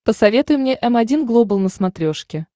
посоветуй мне м один глобал на смотрешке